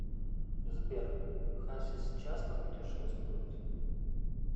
сбер хасис часто путешествует